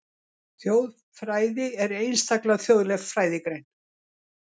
Þjóðfræði er einstaklega þjóðleg fræðigrein.